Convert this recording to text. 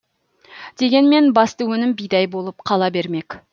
дегенмен басты өнім бидай болып қала бермек